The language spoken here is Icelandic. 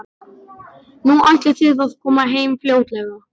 Nú, ætlið þið að koma heim fljótlega?